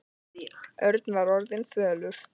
Örn var orðinn fölur.